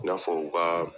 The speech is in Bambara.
I n'a fɔ u ka